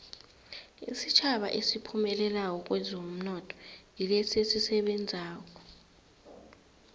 isitjhaba esiphumelelako kwezomnotho ngilesi esisebenzako